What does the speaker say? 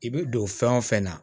I bɛ don fɛn o fɛn na